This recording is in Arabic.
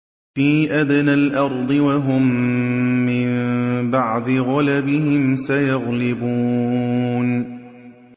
فِي أَدْنَى الْأَرْضِ وَهُم مِّن بَعْدِ غَلَبِهِمْ سَيَغْلِبُونَ